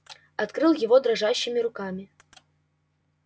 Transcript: открыл его дрожащими руками